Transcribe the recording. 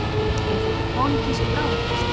Er þetta pólitísk bráðapest?